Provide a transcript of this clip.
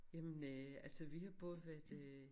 Jamen øh altså vi har både været i øh